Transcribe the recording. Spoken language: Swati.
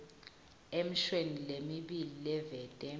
emishweni lemibili livete